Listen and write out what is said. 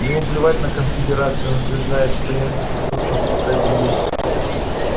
ему наплевать на конфедерацию и он утверждает что янки сотрут нас с лица земли